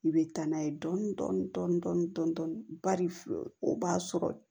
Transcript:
I bɛ taa n'a ye dɔɔnin dɔɔnin bari o b'a sɔrɔ